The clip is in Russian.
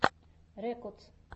рекодс